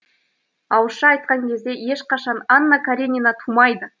ауызша айтқан кезде ешқашан анна каренина тумайды